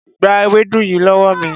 Gba ewédú yìí lówó mi.